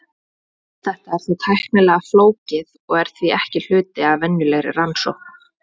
Þetta er þó tæknilega flókið og er því ekki hluti af venjulegri rannsókn.